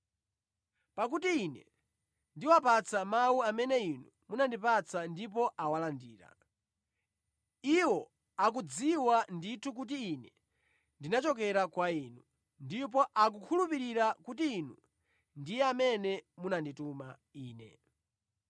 Pakuti Ine ndiwapatsa mawu amene Inu munandipatsa ndipo awalandira. Iwo akudziwa ndithu kuti Ine ndinachokera kwa Inu, ndipo akukhulupirira kuti Inu ndiye amene munandituma Ine.